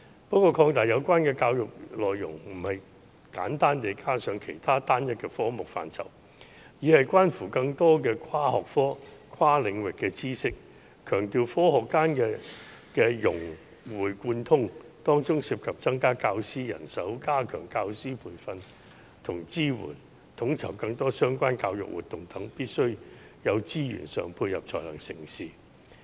不過，擴大有關的教育內容不止是簡單地加上其他單一的科目範疇，而是關乎更多的跨學科和跨領域的知識，強調學科間的融會貫通，當中涉及增加教師人手，加強教師培訓及支援，統籌更多相關教育活動等，故此，必須有資源上的配合才能成事。